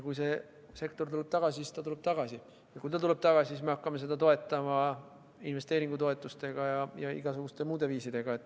Kui see sektor tuleb tagasi, siis ta tuleb tagasi, ja kui ta tuleb tagasi, siis me hakkame seda toetama investeeringutoetuste ja igasuguste muude viisidega.